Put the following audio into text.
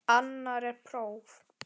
Annar er próf.